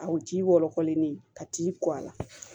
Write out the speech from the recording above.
A wo ji wɔlɔkɔlen ka t'i kɔ a la